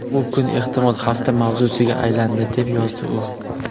Bu kun, ehtimol hafta mavzusiga aylandi”, deb yozdi u.